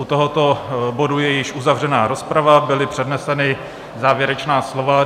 U tohoto bodu je již uzavřena rozprava, byla přednesena závěrečná slova.